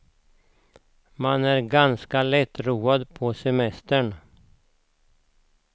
Man är ganska lättroad på semestern.